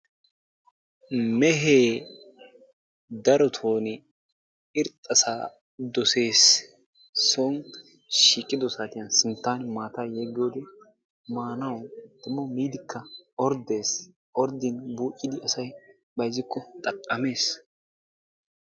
Mehee darotoon irxxaasa doosees, soon shiiqido saatiyan sinttan maataa yeggiyode maanawu demmo miidikka orddees orddin buuccidi asay bayzziko xaqqamees.